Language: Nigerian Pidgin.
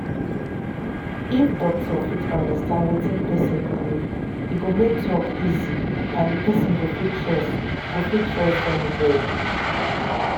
if doctor fit understand wetin person believe e go make talk easy and the person go fit trust go fit trust dem well.